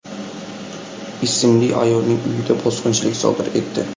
ismli ayolning uyida bosqinchilik sodir etdi.